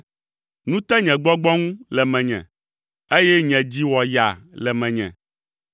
Nu te nye gbɔgbɔ ŋu le menye, eye nye dzi wɔ yaa le menye.